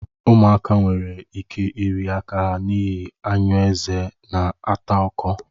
Ụmụaka nwere ike iri aka ha n'ihi anyụ eze na-ata ọkọ